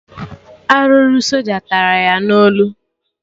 Arụrụ soja tara ya na olu